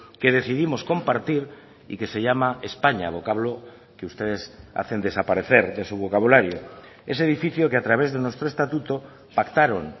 que decidimos compartir y que se llama españa vocablo que ustedes hacen desaparecer de su vocabulario ese edificio que a través de nuestro estatuto pactaron